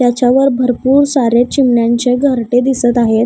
त्याच्यावर भरपूर सारे चिमण्यांचे घरटे दिसत आहेत.